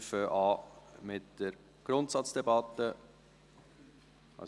Wir fangen mit der Grundsatzdebatte an.